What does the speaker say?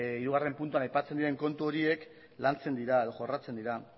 hirugarren puntuan aipatzen diren kontu horiek lantzen dira jorratzen dira